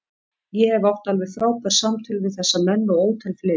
Ég hef átt alveg frábær samtöl við þessa menn og ótal fleiri.